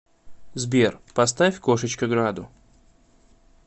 сбер поставь кошечка граду